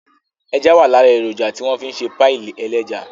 Ẹja wà lára èròjà tí wọ́n fi ń ṣe páì ẹlẹ́ja